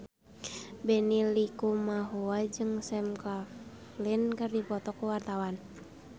Benny Likumahua jeung Sam Claflin keur dipoto ku wartawan